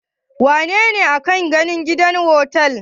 Wace ce aka gani a otel?